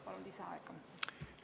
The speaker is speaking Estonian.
Palun lisaaega!